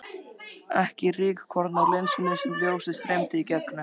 Ekki rykkorn á linsunni sem ljósið streymdi í gegnum.